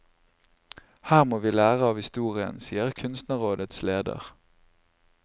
Her må vi lære av historien, sier kunstnerrådets leder.